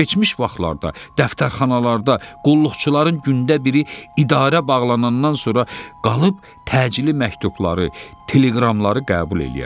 Keçmiş vaxtlarda dəftərxanalarda qulluqçuların gündə biri idarə bağlanandan sonra qalıb təcili məktubları, teleqramları qəbul eləyərdi.